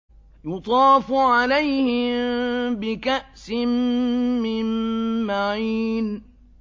يُطَافُ عَلَيْهِم بِكَأْسٍ مِّن مَّعِينٍ